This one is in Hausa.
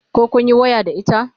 koh kunyi waya da ita?